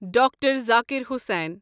Doctor Zakir Hussain